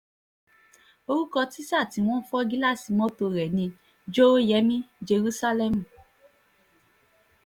orúkọ tísà tí wọ́n fọ́ gíláàsì mọ́tò rẹ̀ ni jòhóyẹ̀mí jerúsálẹ́mù